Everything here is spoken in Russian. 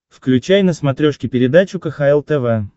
включай на смотрешке передачу кхл тв